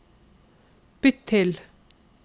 bytt til